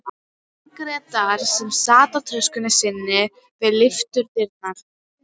Margrétar sem sat á töskunni sinni við lyftudyrnar.